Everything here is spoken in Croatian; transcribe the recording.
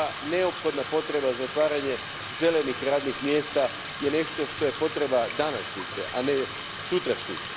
Neophodna potreba za otvaranjem zelenih radnih mjesta je nešto što je potreba današnjice, a ne sutrašnjice.